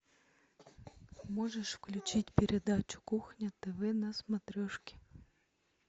можешь включить передачу кухня тв на смотрешке